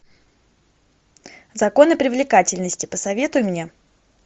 законы привлекательности посоветуй мне